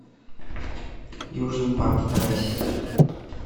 южный парк вторая серия